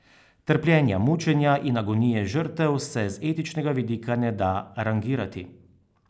Trpljenja, mučenja in agonije žrtev se z etičnega vidika ne da rangirati.